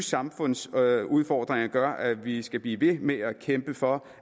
samfundsudfordringer gør at vi vi skal blive ved med at kæmpe for